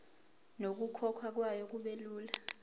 nokukhokhwa kwayo kubelula